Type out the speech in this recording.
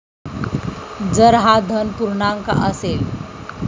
जर हा धन पूर्णांक असेल